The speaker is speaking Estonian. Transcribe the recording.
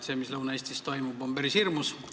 See, mis Lõuna-Eestis toimub, on päris hirmus.